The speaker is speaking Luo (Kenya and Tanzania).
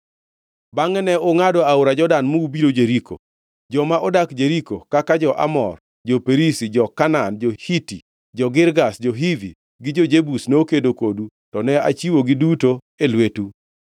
“ ‘Bangʼe ne ungʼado aora Jordan mi ubiro Jeriko. Joma odak Jeriko, kaka jo-Amor, jo-Perizi, jo-Kanaan, jo-Hiti, jo-Girgash, jo-Hivi, gi jo-Jebus nokedo kodu, to ne achiwogi duto e lwetu.